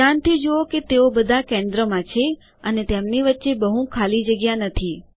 ધ્યાનથી જુઓ કે તેઓ બધા કેન્દ્રમાં છે અને તેમની વચ્ચે બહુ ખાલી જગ્યા નથી